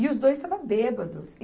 E os dois estavam bêbados.